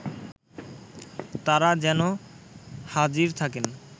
তারা যেন হাজির থাকেন